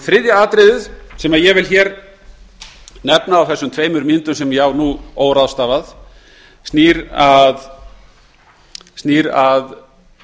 þriðja atriðið sem ég vil nefna á þeim tveimur mínútum sem ég á hér óráðstafað snýr að